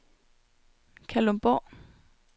Kalundborg